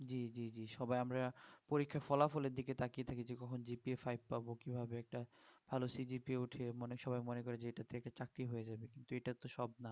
জি জি জি সবাই আমারা পরীক্ষার ফলাফল এর দিকে তাকিয়ে থাকি যে কখন GPAfive পাবো কিভাবে একটা ভালো CGPA উঠিয়ে মনে সবাই মনে করে যে এটা থেকে চাকরি হয়ে যাবে তো এটা তো সব না